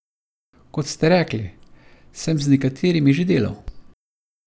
Kot ste rekli, sem z nekaterimi že delal.